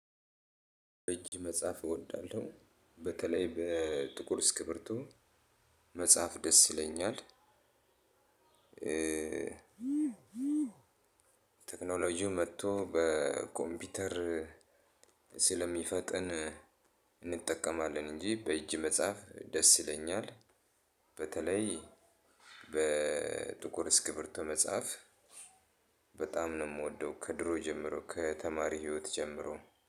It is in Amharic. እጅ መጽሐፍ እወዳለሁ፤ በተለይ በጥቁር እስክርቢቶ መጽሐፍ ደስ ይለኛል። ቴክኖሎጂው መጥቶ በኮምፒውተር ስለሚፈጥን እንጠቀማለን እንጂ በእጅ መጽሐፍ ደስ ይለኛል። በተለይ በጥቁር እስክርብቶ መጽሐፍ በጣም ነው የምወደው ከድሮ ጀምሮ ከተማሪ ህይወት ጀምሮ